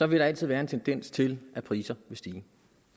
vil der altid være en tendens til at priserne vil stige